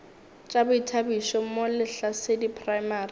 tša boithabišo mo lehlasedi primary